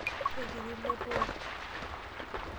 Kekiti ilo too.